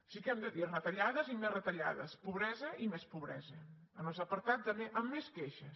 sí que hem de dir retallades i més retallades pobresa i més pobresa en els apartats amb més queixes